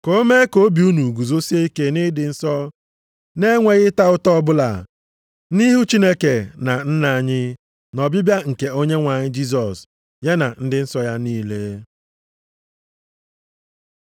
Ka ọ mee ka obi unu guzosie ike nʼịdị nsọ, na-enweghị ịta ụta ọbụla, nʼihu Chineke na Nna anyị, nʼọbịbịa nke Onyenwe anyị Jisọs ya na ndị nsọ ya niile.